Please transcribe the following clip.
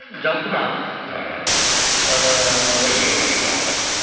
жалпы ма іхі ыыы өзіңнің өміріңнен алынған десек